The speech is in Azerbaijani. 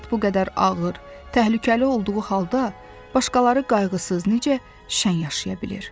həyat bu qədər ağır, təhlükəli olduğu halda, başqaları qayğısız necə şən yaşaya bilir?